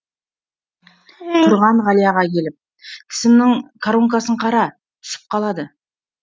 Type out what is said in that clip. тұрған ғалияға келіп тісімнің коронкасын қара түсіп қалды